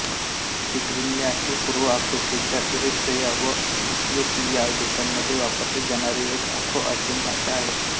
Tigrinya ही पूर्व आफ्रिकेच्या इरिट्रिया व इथियोपिया देशांमध्ये वापरली जाणारी एक आफ्रोआशियन भाषा आहे